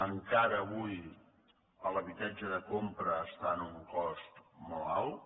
encara avui l’habitatge de compra està en un cost molt alt